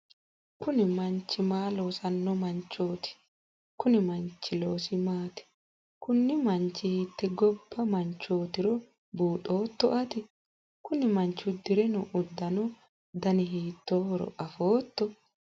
kuni manchi maa loosanno manchooti konni manchi loosi maati? kuni manchi hiitte gobba manchootiro buuxooto ati? kuni manchi uddire noo uddano dani hiitoohoro afootto?